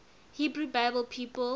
hebrew bible people